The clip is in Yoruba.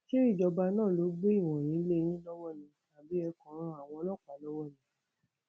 ṣé ìjọba náà ló gbé ìwọnyí lé yín lọwọ ni àbí ẹ kàn ń ran àwọn ọlọpàá lọwọ ni